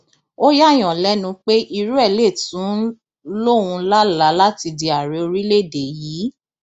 ó yààyàn lẹnu pé irú ẹ lè tún ń lóun lálàá láti di ààrẹ orílẹèdè yìí